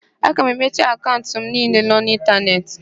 Aga m emechi akaụnt m niile nọ n'ịntanetị.